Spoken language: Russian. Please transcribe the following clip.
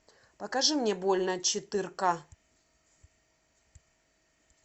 покажи мне больно четырка